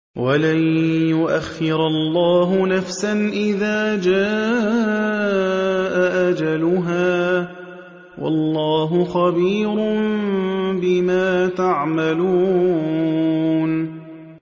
وَلَن يُؤَخِّرَ اللَّهُ نَفْسًا إِذَا جَاءَ أَجَلُهَا ۚ وَاللَّهُ خَبِيرٌ بِمَا تَعْمَلُونَ